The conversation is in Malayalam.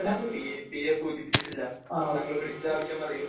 പി എ സൂചിപ്പിച്ചില്ല . നിങ്ങൾ വിളിച്ച ആവശ്യം പറയു